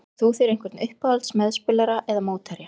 Átt þú þér einhvern uppáhalds meðspilara eða mótherja?